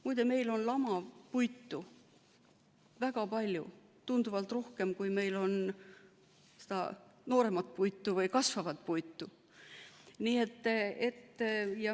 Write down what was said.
Muide, meil on lamapuitu väga palju, tunduvalt rohkem, kui meil on seda nooremat puitu või kasvavat puitu.